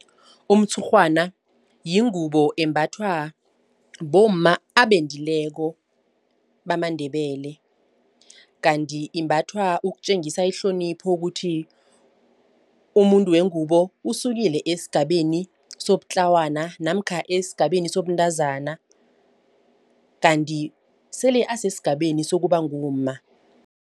Umtshurhwana yingubo embathwa bomma abendileko bamaNdebele. Kanti imbathwa ukutjengisa ihlonipho ukuthi umuntu wengubo usukile esigabeni sobutlawana namkha esigabeni sobuntazana. Kanti sele asesigabeni sokuba ngumma.